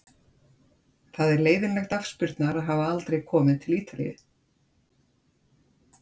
Það er leiðinlegt afspurnar að hafa aldrei komið til Ítalíu.